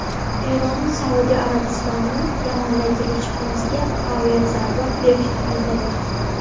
Eron Saudiya Arabistonini Yamandagi elchixonasiga aviazarba berishda aybladi.